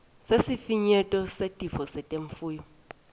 sesifinyeto setifo temfuyo